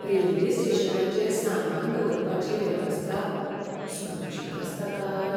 Railway स्टेशनाचेर सामान दवरपाची वेवस्था सुरक्षीत आसता काय?